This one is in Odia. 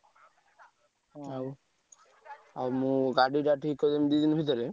ଆଉ ଆଉ ମୁଁ ଗାଡି ଠିକ୍ କରିଦେବି ଦି ଦିନ ଭିତରେ।